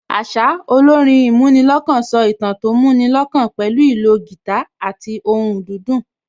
Àṣá, olórin ìmúnilọ́kàn so ìtàn tó mú ni lọ́kàn pẹ̀lú ìlò guitar àti ohùn dídùn